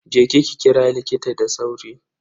Je ki kira likita da sauri.